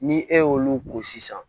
Ni e y'olu ko sisan